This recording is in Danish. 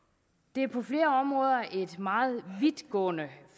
det er på flere områder et meget vidtgående